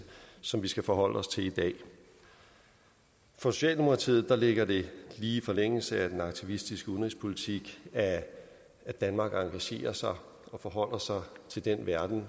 som vi skal forholde os til i dag for socialdemokratiet ligger det lige i forlængelse af den aktivistiske udenrigspolitik at danmark engagerer sig og forholder sig til den verden